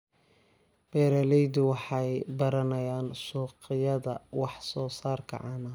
Beeraleydu waxay baranayaan suuqyada wax soo saarka caanaha.